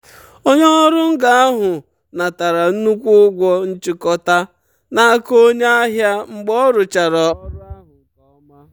onye ọrụ ngo ahụ natara nnukwu ụgwọ nchikota n'aka onye ahịa mgbe ọ rụchara ọrụ ahụ nke ọma.